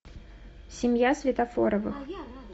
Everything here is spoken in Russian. семья светофоровых